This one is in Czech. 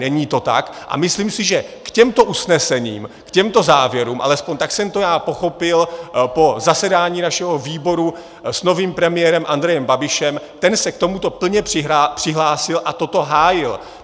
Není to tak, a myslím si, že k těmto usnesením, k těmto záměrům, alespoň tak jsem to já pochopil po zasedání našeho výboru s novým premiérem Andrejem Babišem, ten se k tomuto plně přihlásil a toto hájil.